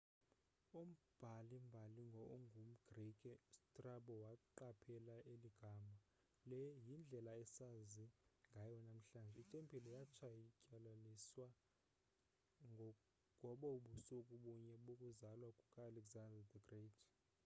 umbhali-mbali ongumgrike ustrabo waqaphela eli gama le yindlela esazi ngayo namhlanje. itempile yatshatyalaliswa ngobo busuku bunye bokuzalwa kuka-alexander the great